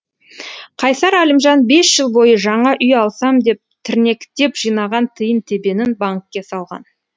қайсар әлімжан бес жыл бойы жаңа үй алсам деп тірнектеп жинаған тиын тебенін банкке салған